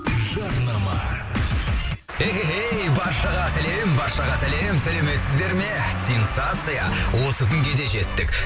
жарнама эхэхэй баршаға сәлем баршаға сәлем сәлеметсіздер ме сенсация осы күнге де жеттік